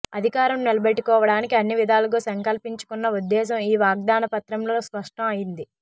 అధికారం నిలబెట్టుకోవడానికి అన్ని విధాలుగా సంకల్పించుకున్న ఉద్ధేశం ఈ వాగ్దానపత్రంతో స్పష్టం అయింది